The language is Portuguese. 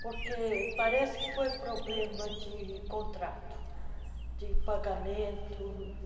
Porque parece que foi problema de contrato ah sim, de pagamento.